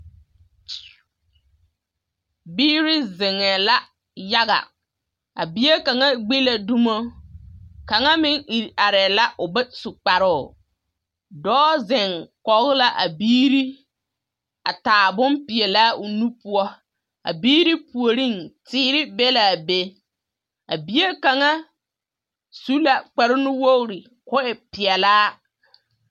Kyeeo! Biiri zeŋɛɛla yaga a bie kaŋa gbi la dumo. Kaŋa meŋ iri arɛɛ la o bas u kparoo. Dɔɔ zeŋ kɔge la a biiri a taa bompeɛlaa o nu poɔ. A biiri puoriŋ teere be la a be. A bie kŋaŋ su la kpare nuwogiri ka o e peɛlaa.